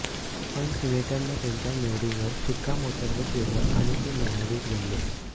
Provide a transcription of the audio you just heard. पण सिनेटनं त्यांच्या निवडीवर शिक्कामोर्तब केलं आणि ते न्यायाधीश बनले